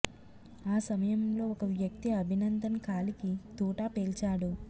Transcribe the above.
ఆ సమయంలో ఒక వ్యక్తి అభినందన్ కాలికి తూటా పేల్చాడు